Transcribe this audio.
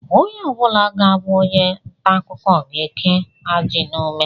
Onye ọ bụla ga-abụ onye ntaakụkọ ga-eke ajị n'ume